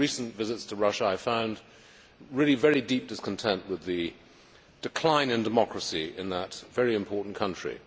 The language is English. On my recent visits to Russia I found really very deep discontent with the decline in democracy in that very important country.